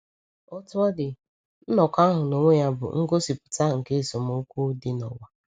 Otú ọ dị, nnọkọ ahụ n’onwe ya bụ ngosipụta nke esemokwu dị n’ụwa.